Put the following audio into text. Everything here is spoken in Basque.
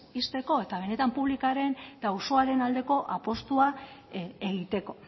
ixteko eta benetan publikoren eta auzoaren aldeko apustua egiteko